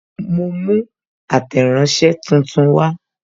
Mo mú ateranse tuntun wa